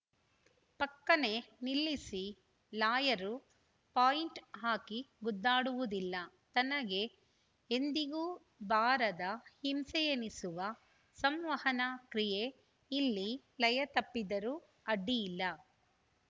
ಫಕ್ಕನೆ ನಿಲ್ಲಿಸಿ lawyer point ಹಾಕಿ ಗುದ್ದಾಡುವುದಿಲ್ಲ ತನಗೆ ಎಂದಿಗೂ ಬಾರದ ಹಿಂಸೆಯೆನಿಸುವ ಸಂವಹನ ಕ್ರಿಯೆ ಇಲ್ಲಿ ಲಯ ತಪ್ಪಿದರೂ ಅಡ್ಡಿಯಿಲ್ಲ